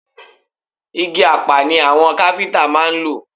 Igi Apá ni àwọn káfíntà máa ń lò.